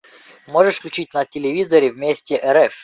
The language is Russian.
можешь включить на телевизоре вместе рф